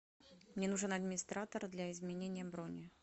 мне нужен администратор для изменения брони